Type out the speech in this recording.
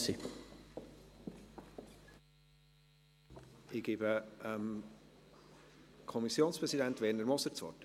Ich gebe dem Kommissionspräsidenten, Werner Moser, das Wort.